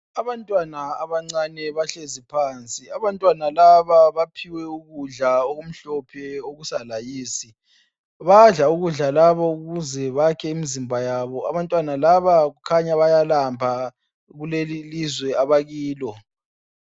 Abantwana abancane bahlezi phansi, abantwana laba baphiwe ukudla okumhlophe okusa layisi, badla ukudla labo ukuzebayakhe imzimba yabo. Abantwana laba kukhanya bayalamba kulelilizwe abakilo.